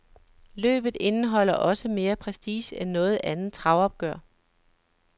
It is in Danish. Løbet indeholder også mere prestige end noget andet travopgør.